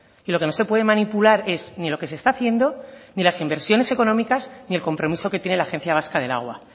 y lo que no se puede manipular es ni lo que se está haciendo ni las inversiones económicas ni el compromiso que tiene la agencia vasca del agua